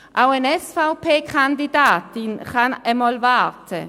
Auch eine SVP-Kandidatin kann einmal warten.